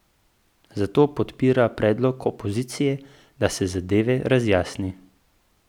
Zato podpira predlog opozicije, da se zadeve razjasni.